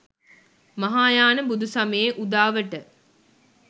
මහායාන බුදු සමයේ උදාවට